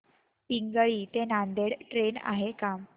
पिंगळी ते नांदेड ट्रेन आहे का